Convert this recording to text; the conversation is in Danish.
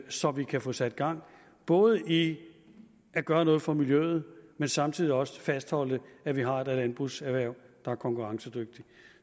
så vi kan få sat gang både i at gøre noget for miljøet og samtidig også fastholde at vi har et landbrugserhverv der er konkurrencedygtigt